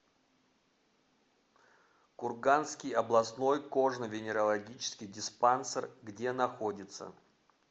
курганский областной кожно венерологический диспансер где находится